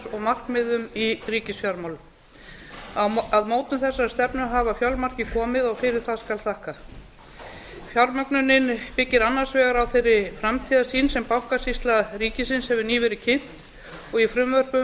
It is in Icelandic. og markmiðum í ríkisfjármálum að mótun þessarar stefnu hafa fjölmargir komið og fyrir það skal þakka fjármögnunin byggir annars vegar á þeirri framtíðarsýn sem bankasýsla ríkisins hefur nýverið kynnt og frumvörpum